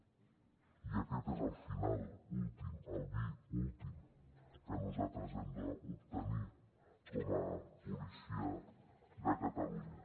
i aquest és el final últim albir últim que nosaltres hem d’obtenir com a policia de catalunya